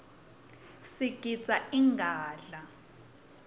sigidza ingadla